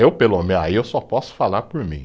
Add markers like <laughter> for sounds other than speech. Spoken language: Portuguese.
Eu, pelo, <unintelligible> aí eu só posso falar por mim.